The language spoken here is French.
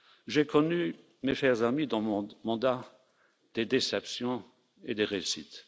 J'ai connu, mes chers amis, dans mon mandat, des déceptions et des réussites.